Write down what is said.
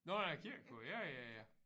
Nå der er kirkekor ja ja ja